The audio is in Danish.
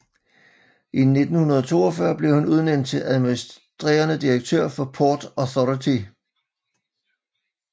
I 1942 blev han udnævnt til administrerende direktør for Port Authority